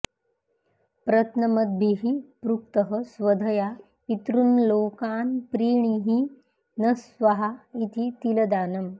प्रत्नमद्भिः पृक्तः स्वधया पितॄंल्लोकान्प्रीणीहि नः स्वाहा इति तिलदानम्